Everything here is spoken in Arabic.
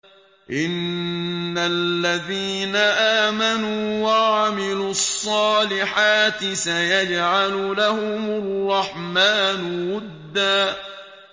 إِنَّ الَّذِينَ آمَنُوا وَعَمِلُوا الصَّالِحَاتِ سَيَجْعَلُ لَهُمُ الرَّحْمَٰنُ وُدًّا